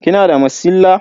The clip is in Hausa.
Kina da masilla?